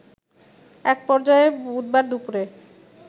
এক পর্যায়ে বুধবার দুপুরে